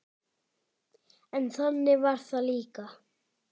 En þannig var það líka.